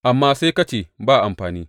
Amma sai ka ce, Ba amfani!